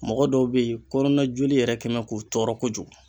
Mɔgɔ dɔw be yen kɔnɔna joli yɛrɛ kɛ mɛ k'u tɔɔrɔ kojugu